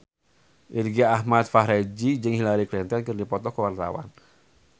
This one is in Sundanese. Irgi Ahmad Fahrezi jeung Hillary Clinton keur dipoto ku wartawan